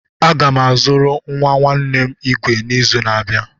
Aga m azụrụ nwa nwanne m igwe igwe n'izu na-abịa.